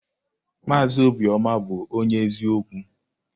Maazị Obiọma bụ onye eziokwu.